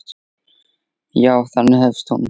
Já, þannig hefst hún.